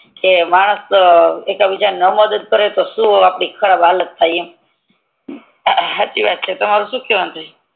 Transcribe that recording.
કે માણસ એક બીજા ની કદર ના કરે તો આપડી શું ખરાબ હાલત થાય એમ હચી વાત છે તમારે શું કેવાનું થાય